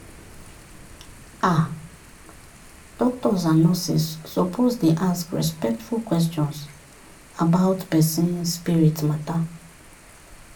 ah doctors and nurses suppose dey ask respectful questions about person spirit matter.